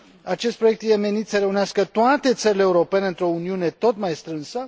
Acest proiect este menit să reunească toate țările europene într o Uniune tot mai strânsă.